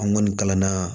An kɔni kalanna